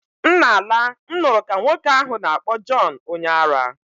M na-ala, m nụrụ ka nwoke ahụ na-akpọ John onye ara